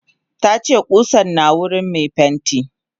Tace kusan na wurin me pentin.